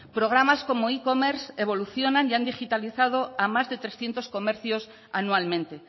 programas como e commerce evolucionan y han digitalizado a más de trescientos comercios anualmente